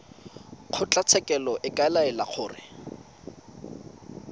kgotlatshekelo e ka laela gore